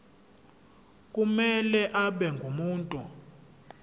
kumele abe ngumuntu